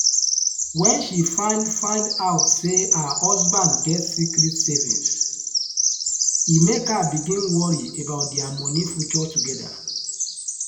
when she find find out say her husband get secret savings e make her begin worry about their money future together.